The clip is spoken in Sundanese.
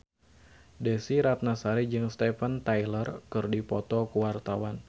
Desy Ratnasari jeung Steven Tyler keur dipoto ku wartawan